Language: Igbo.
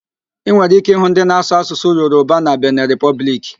Ị nwere íké ịhụ ndị na-asụ Asụsụ Yoroba na Bene Repọblik